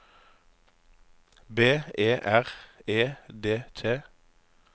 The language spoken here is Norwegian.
B E R E D T